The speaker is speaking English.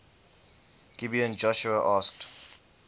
gibeon joshua asked